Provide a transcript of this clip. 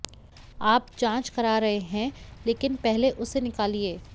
आप जांच करा रहे हैं लेकिन पहले उसे निकालिए